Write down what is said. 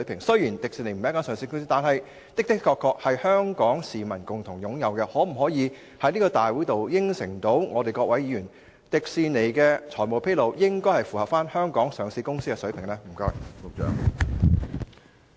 雖然迪士尼並非上市公司，但它確實是香港市民共同擁有的資產，局長可否向本會議員承諾，確保迪士尼在財務披露方面，符合香港上市公司的水平？